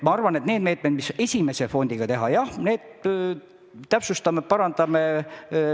Ma arvan, et neid meetmeid, mis esimese fondi abil rakendada, me täpsustame-parandame.